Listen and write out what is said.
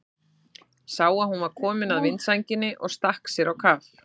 Sá að hún var komin að vindsænginni og stakk sér á kaf.